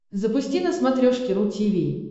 запусти на смотрешке ру ти ви